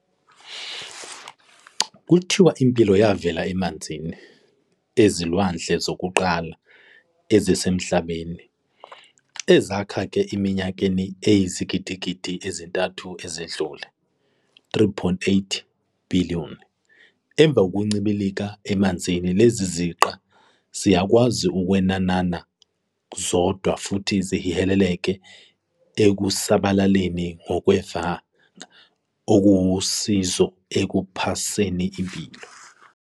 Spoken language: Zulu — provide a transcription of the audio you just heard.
Kuthiwa impilo yavela emanzini ezilwandle zokuqala ezisemhlabeni, ezakheka eminyakeni eyizigidigidi ezintathu ezidlule, 3.8 billion. Emva kokuncibilika emanzini, lezi ziqa ziyakwazi ukwenana zodwa futhi zihileleke ekusabeleni ngokwevanga okuwusizo ekuphaseni impilo.